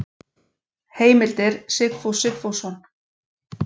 Heimildir Sigfús Sigfússon.